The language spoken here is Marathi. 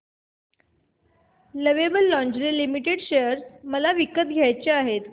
लवेबल लॉन्जरे लिमिटेड शेअर मला विकत घ्यायचे आहेत